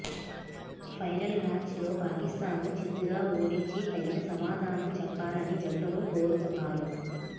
final match లో పాకిస్థాన్ ను చిత్తుగా ఓడించి తగిన సమాధానం చెప్పాలని జట్టును కోరుతున్నారు